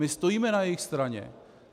My stojíme na jejich straně.